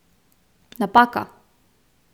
Napaka!